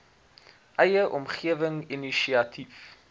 eie omgewing inisiatief